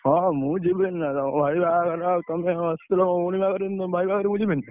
ହଁ, ହଁ, ମୁଁ ଯିବିନି ନା କଣ, ଭାଇ ବାହାଘର ଆଉ ତମେ ଆସିଥିଲ ମୋ ଭଉଣୀ ବାହାଘରକୁ ମୁଁ ତମ ଭାଇ ବାହାଘରକୁ ଯିବିନି!